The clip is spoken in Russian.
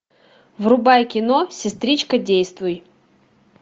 врубай кино сестричка действуй